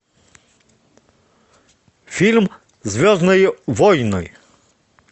фильм звездные войны